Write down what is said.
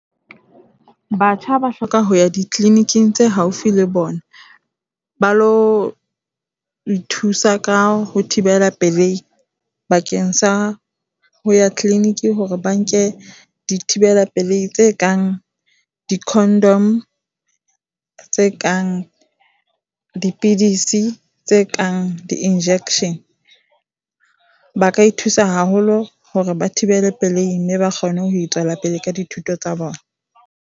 Batjha ba hloka ho ya di-clinic-ing tse haufi le bona, ba lo ithusa ka ho thibela pelei bakeng sa ho ya clinic hore ba nke dithibela pelei tse kang di-condom, tse kang dipidisi, tse kang di-injection. Ba ka ithusa haholo hore ba thibele pelei mme ba kgone ho tswela pele ka dithuto tsa bona.